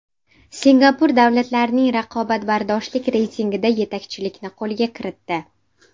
Singapur davlatlarning raqobatbardoshlik reytingida yetakchilikni qo‘lga kiritdi.